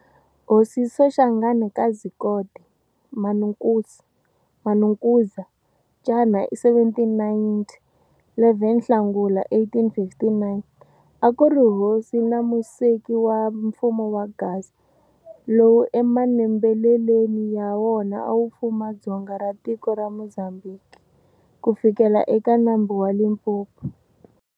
Hosi Soshanghana ka Zikode, Manukosi-Manukuza, ca 1790-11 Nhlangula 1859, a kuri hosi na museki wa mfumo wa Gaza, lowu emanembeleleni ya wona awu fuma ndzonga ra tiko ra Muzambhiki, kufikela eka nambu wa Limpopo.